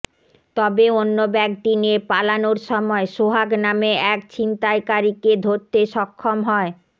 তবে অন্য ব্যাগটি নিয়ে পালানোর সময় সোহাগ নামে এক ছিনতাইকারীকে ধরতে সক্ষম হয়